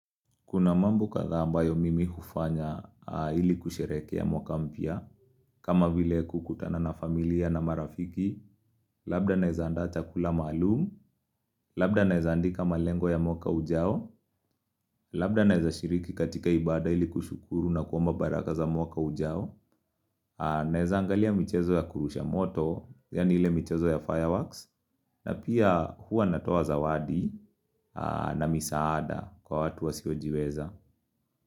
Kuna mambo kadhaa ambayo mimi hufanya ili kusherehekea mwaka mpya, kama vile kukutana na familia na marafiki, labda naeza andaaa chakula malumu, labda naeza andika malengo ya mwaka ujao, labda naeza shiriki katika ibada ili kushukuru na kuomba baraka za mwaka ujao, naeza angalia michezo ya kurusha moto, yani ile michezo ya fireworks, na pia huwa natoa zawadi na misaada kwa watu wasiojiweza.